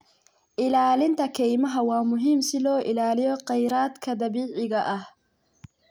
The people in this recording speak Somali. Ilaalinta kaymaha waa muhiim si loo ilaaliyo khayraadka dabiiciga ah.